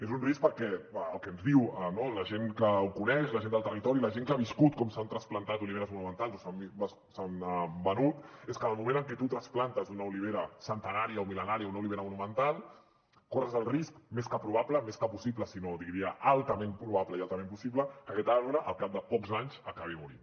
és un risc perquè el que ens diu la gent que ho coneix la gent del territori la gent que ha viscut com s’han trasplantat oliveres monumentals o s’han venut és que en el moment que tu trasplantes una olivera centenària o mil·lenària una olivera monumental corres el risc més que probable més que possible sinó que diria altament probable i altament possible que aquest arbre al cap de pocs anys acabi morint